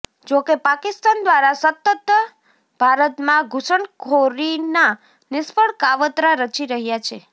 જોકે પાકિસ્તાન દ્વારા સતતત ભારતમાં ઘૂસણખોરીના નિષ્ફળ કાવતરા રચી રહ્યા છે